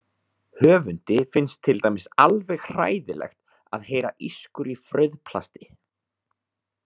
Höfundi finnst til dæmis alveg hræðilegt að heyra ískur í frauðplasti.